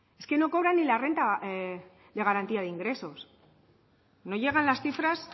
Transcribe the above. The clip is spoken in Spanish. es que no cobran ni la renta de garantía de ingresos no llegan las cifras